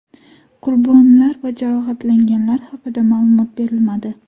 Qurbonlar va jarohatlanganlar haqida ma’lumot berilmadi.